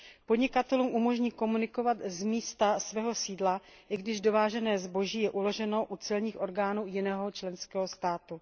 Podnikatelům umožní komunikovat z místa svého sídla, i když dovážené zboží je uloženo u celních orgánů jiného členského státu.